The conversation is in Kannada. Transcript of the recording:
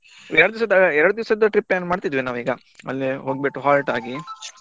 ಎರಡು ದಿವಸ~ ಎರಡು ದಿವಸದ್ದು trip plan ಮಾಡ್ತೀದ್ವಿ ನಾವೀಗ ಈಗ ಅಲ್ಲಿ ಹೋಗ್ಬಿಟ್ಟು halt ಆಗಿ .